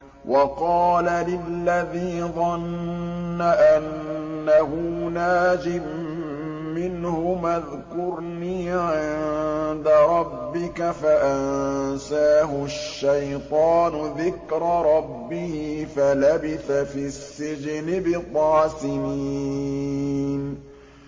وَقَالَ لِلَّذِي ظَنَّ أَنَّهُ نَاجٍ مِّنْهُمَا اذْكُرْنِي عِندَ رَبِّكَ فَأَنسَاهُ الشَّيْطَانُ ذِكْرَ رَبِّهِ فَلَبِثَ فِي السِّجْنِ بِضْعَ سِنِينَ